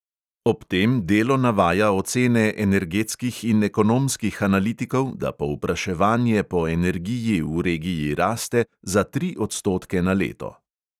Ob tem delo navaja ocene energetskih in ekonomskih analitikov, da povpraševanje po energiji v regiji raste za tri odstotke na leto.